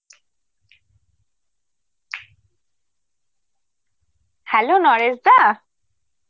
hello নরেশদা?